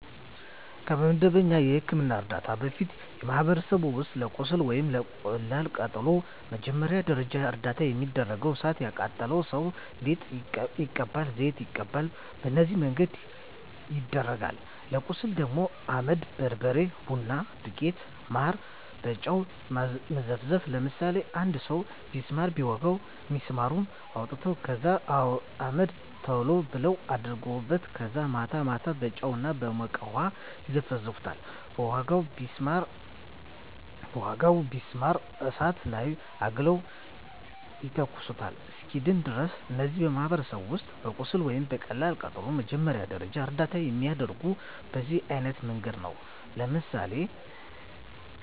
ከመደበኛ የሕክምና ዕርዳታ በፊት፣ በማኅበረሰባችን ውስጥ ለቁስል ወይም ለቀላል ቃጠሎ መጀመሪያ ደረጃ እርዳታ የሚደረገው እሣት የቃጠለው ሠው ሊጥ ይቀባል፤ ዘይት ይቀባል፤ በነዚህ መንገድ ይደረጋል። ለቁስል ደግሞ አመድ፤ በርበሬ፤ ቡና ዱቄት፤ ማር፤ በጨው መዘፍዘፍ፤ ለምሳሌ አንድ ሠው ቢስማር ቢወጋው ቢስማሩን አውጥተው ከዛ አመድ ቶሎ ብለው አደርጉበታል ከዛ ማታ ማታ በጨው እና በሞቀ ውሀ ይዘፈዝፈዋል በወጋው ቢስማር እሳት ላይ አግለው ይተኩሱታል እስኪድን ድረስ። እነዚህ በማኅበረሰባችን ውስጥ ለቁስል ወይም ለቀላል ቃጠሎ መጀመሪያ ደረጃ እርዳታ የሚደረገው በዚህ አይነት መንገድ ነው። ለምሳሌ